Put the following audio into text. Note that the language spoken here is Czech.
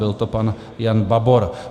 Byl to pan Jan Babor.